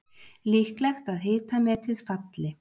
Líklegt að hitametið falli